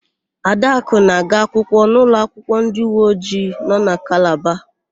Adakụ na-aga akwụkwọ n'ụlọakwụkwọ ndịuweojii nọ na Kalaba.